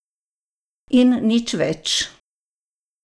In nič več.